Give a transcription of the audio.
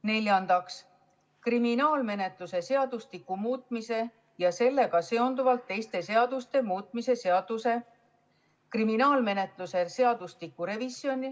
Neljandaks, kriminaalmenetluse seadustiku muutmise ja sellega seonduvalt teiste seaduste muutmise seaduse eelnõu.